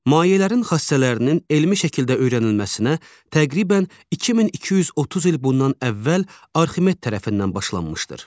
Mayələrin xassələrinin elmi şəkildə öyrənilməsinə təqribən 2230 il bundan əvvəl Arximet tərəfindən başlanmışdır.